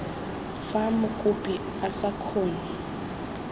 fa mokopi a sa kgone